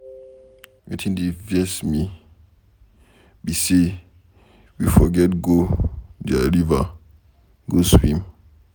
Wetin dey vex me be say we forget go their river go swim.